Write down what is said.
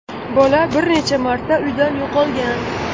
Bola bir necha marta uydan yo‘qolgan.